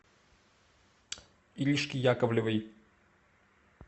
иришке яковлевой